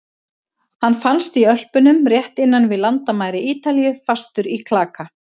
Hann fannst í Ölpunum rétt innan við landamæri Ítalíu, fastur í klaka.